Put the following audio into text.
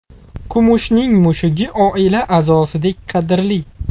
Kumushning mushugi oila a’zosidek qadrli!